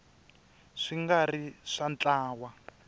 swi nga ri swa ntlawa